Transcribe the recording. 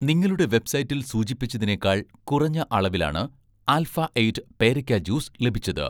നിങ്ങളുടെ വെബ്‌സൈറ്റിൽ സൂചിപ്പിച്ചതിനേക്കാൾ കുറഞ്ഞ അളവിലാണ് 'ആൽഫ എയ്റ്റ്' പേരക്ക ജ്യൂസ് ലഭിച്ചത്